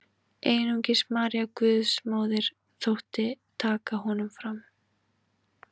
Einungis María Guðsmóðir þótti taka honum fram.